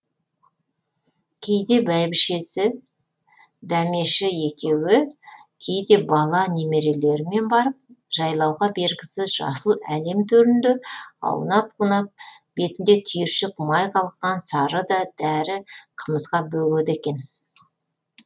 кейде бәйбішесі дәмеші екеуі кейде бала немерелерімен барып жайлауға бергісіз жасыл әлем төрінде аунап қунап бетінде түйіршік май қалқыған сары да дәрі қымызға бөгеді екен